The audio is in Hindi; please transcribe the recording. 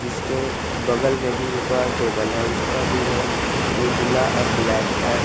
इसके बगल में भी एक और टेबल है उसका भी रंग उजला और ब्लैक है।